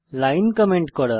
line comment করা